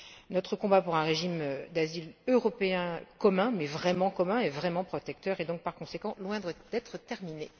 Notre combat pour un régime d'asile européen commun, mais vraiment commun et vraiment protecteur, est donc par conséquent loin d'être terminé.